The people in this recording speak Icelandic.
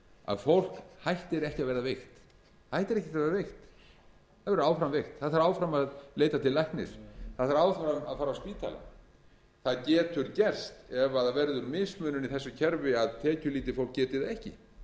að fólk hættir ekki að verða veikt það verður áfram veikt það þarf áfram að leita til læknis það þarf áfram að fara á spítala það getur gerst ef það verður mismunun í þessu kerfi að tekjulítið fólk geti það ekki